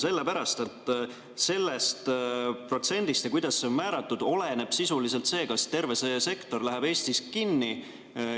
Sellepärast, et sellest protsendist ja sellest, kuidas see määratud, oleneb sisuliselt see, kas terve see sektor läheb Eestis kinni.